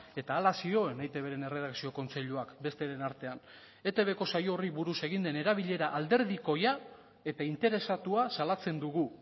eta hala zioen eitbren erredakzio kontseiluak besteren artean etbko saio horri buruz egin den erabilera alderdikoia eta interesatua salatzen dugu